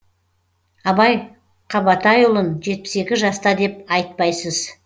абай қабатайұлын жетпіс екі жаста деп айтпайсыз